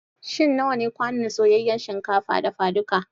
Shin nawa ne kwanon soyayyan shinkafa dafaduka?